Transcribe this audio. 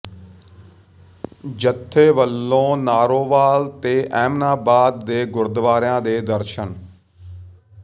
ਜਥੇ ਵੱਲੋਂ ਨਾਰੋਵਾਲ ਤੇ ਏਮਨਾਬਾਦ ਦੇ ਗੁਰਦੁਆਰਿਆਂ ਦੇ ਦਰਸ਼ਨ